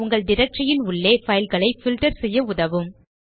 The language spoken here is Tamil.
உங்கள் டைரக்டரி ன் உள்ளே பைல் களை பில்ட்டர் செய்ய உதவும்